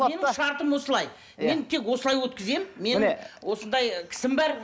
менің шартым осылай мен тек осылай өткіземін мен осындай кісім бар